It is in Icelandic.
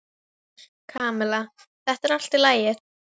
Kamilla, þetta er allt í lagi.